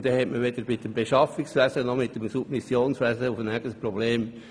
Dann hätte man weder mit dem Beschaffungswesen noch mit dem Submissionswesen ein Problem.